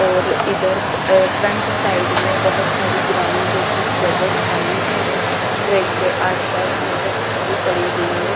और इधर अ फ्रंट साइड में बहोत सारी ग्राउंड जैसी जगह खाली भी है ट्रक के आसपास में जो खाली पड़ी हुई है।